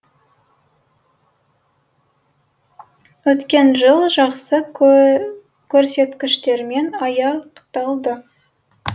өткен жыл жақсы көрсеткіштермен аяқталды